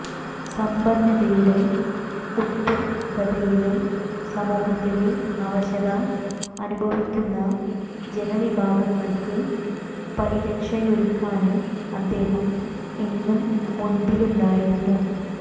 സമ്പന്നതയുടെ ഉത്തുംഗതയിലും സമൂഹത്തിലെ അവശത അനുഭവിക്കുന്ന ജനവിഭാഗങ്ങള്ക്ക് പരിരക്ഷയൊരുക്കാന് അദ്ദേഹം എന്നും മുമ്പിലുണ്ടായിരുന്നു